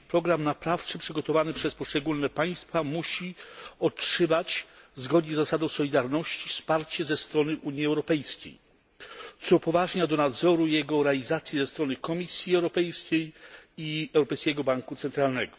Program naprawczy przygotowany przez poszczególne państwa musi otrzymać, zgodnie z zasadą solidarności, wsparcie ze strony Unii Europejskiej, co upoważnia do nadzoru jego realizacji ze strony Komisji Europejskiej i Europejskiego Banku Centralnego.